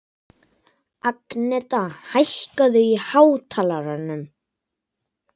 Agneta, hækkaðu í hátalaranum.